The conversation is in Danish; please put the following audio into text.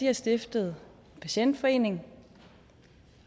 har stiftet en patientforening